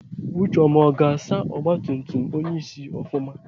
Ucheọma ọ ga-asa ọgbatumtum onyeisi ofụma?